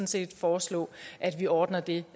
set foreslå at vi ordner det